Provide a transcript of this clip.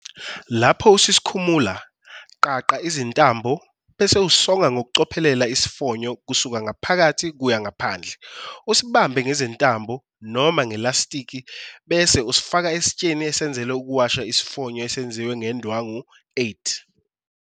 Lapho ususikhumula, qaqa izintambo, bese usonga ngokucophelela isifonyo kusuka ngaphakathi kuya ngaphandle, usibambe ngezintambo noma ngelastiki bese usifaka esitsheni esenzelwe ukuwasha isifonyo esenziwe ngendwangu. 8.